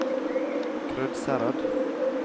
Krødsherad